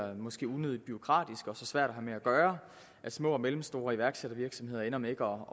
unødigt bureaukratisk og så svært at have med at gøre at små og mellemstore iværksættervirksomheder ender med ikke